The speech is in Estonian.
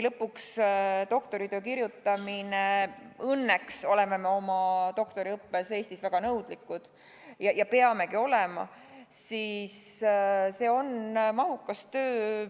Doktoritöö kirjutamine – õnneks oleme me oma doktoriõppes Eestis väga nõudlikud ja peamegi olema – on ikkagi mahukas töö.